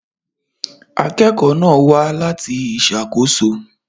Akẹ́kọ̀ọ́ náà wá láti ìṣàkóso.